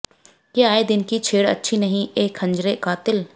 ये आये दिन की छेड़ अच्छी नही ऐ ख़ंजरे क़ातिल